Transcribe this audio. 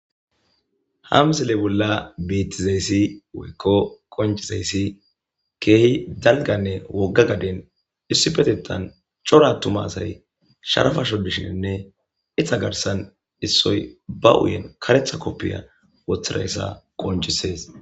hamsele bolla bettizayssi woykko qoncizayssi keehi dalganne wogga gaden issi petetan corattuma asay sharafasho dishinne itha garsan issoy ba uyen karetha koppiya woththirayssa qoncisees